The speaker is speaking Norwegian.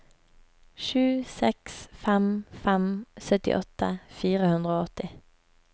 sju seks fem fem syttiåtte fire hundre og åtti